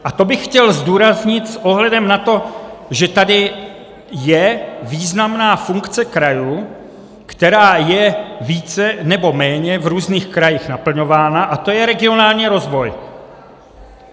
A to bych chtěl zdůraznit s ohledem na to, že tady je významná funkce krajů, která je více nebo méně v různých krajích naplňována, a to je regionální rozvoj.